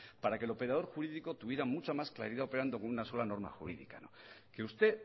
para que el operador jurídico tuviera mucha más claridad operando con una sola norma jurídica que usted